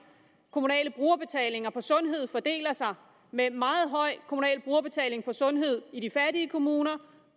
kommunale brugerbetalinger på sundhed fordeler sig og det med en meget høj kommunal brugerbetaling på sundhed i de fattige kommuner